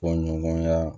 Bɔɲɔgɔnya